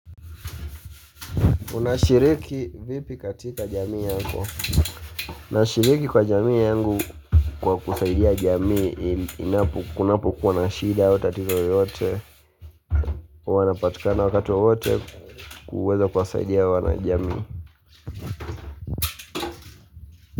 Unashiriki vipi katika jamii yako. Nashiriki kwa jamii yangu kwa kusaidia jamii inapo kunapo kuwa na shida tatizo yoyote wanapatikana wakati wowote kuweza kuwasaidia wanajamii.